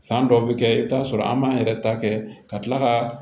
San dɔw bɛ kɛ i bɛ t'a sɔrɔ an b'an yɛrɛ ta kɛ ka tila ka